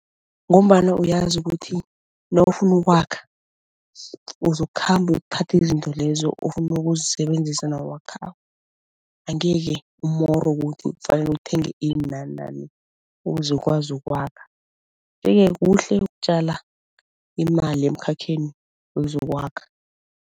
Ngombana uyazi ukuthi nawufuna ukwakha uzokukhamba uyokuthatha izinto lezo ofuna ukuyokuzisebenzisa nawakhako. Angeke umorwe ukuthi kufanele uthenge ini nanani ukuze ukuze ukwazi ukwakha, yeke kuhle ukutjala imali emkhakheni wezokwakha.